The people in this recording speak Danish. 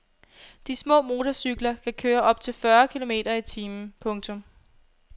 De små motorcykler kan køre op til fyrre kilometer i timen. punktum